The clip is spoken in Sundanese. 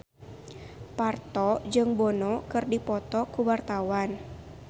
Parto jeung Bono keur dipoto ku wartawan